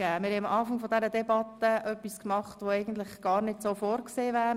Eigentlich haben wir am Anfang der Debatte etwas gemacht, was so gar nicht vorgesehen ist.